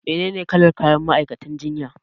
Menene kalar kayan ma'aikatan jinya?